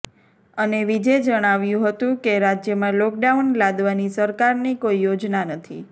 અને વિજે જણાવ્યું હતું કે રાજ્યમાં લોકડાઉન લાદવાની સરકારની કોઈ યોજના નથી